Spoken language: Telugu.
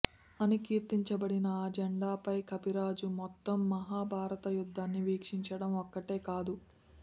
అని కీర్తించబడిన ఆ జెండాపై కపిరాజు మొత్తం మహాభారత యుద్ధాన్ని వీక్షించడం ఒక్కటే కాదు